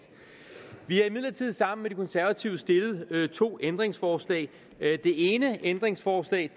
vi har imidlertid sammen med de konservative stillet to ændringsforslag det ene ændringsforslag